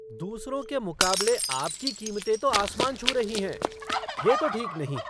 दूसरों के मुकाबले आपकी कीमतें तो आसमान छू रही हैं। यह तो ठीक नहीं!